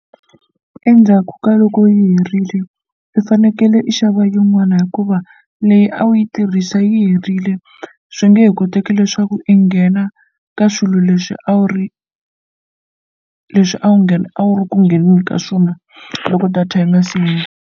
Endzhaku ka loko yi herile i fanekele i xava yin'wana hikuva leyi a wu yi tirhisa yi herile swi nge he koteki leswaku i nghena ka swilo leswi a wu ri leswi a wu nghena a wu ri ku ngheneni ka swona loko data yi nga